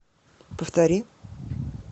повтори